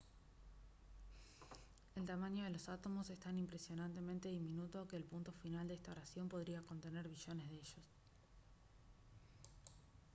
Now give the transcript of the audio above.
el tamaño de los átomos es tan impresionantemente diminuto que el punto final de esta oración podría contener billones de ellos